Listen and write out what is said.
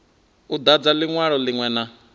u dadza linwalo linwe na